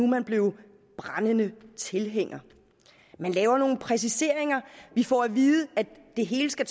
man blevet brændende tilhænger man laver nogle præciseringer vi får at vide at det hele skal